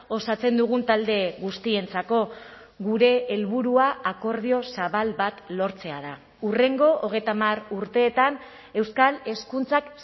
osatzen dugun talde guztientzako gure helburua akordio zabal bat lortzea da hurrengo hogeita hamar urteetan euskal hezkuntzak